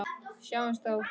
Sjáumst þá.